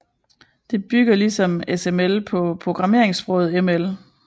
Det bygger ligesom SML på programmeringssproget ML